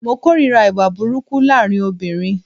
Mo kòrira ìwà burúkú laarin obìrin.